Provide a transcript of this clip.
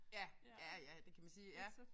Ja ja ja det kan man sige ja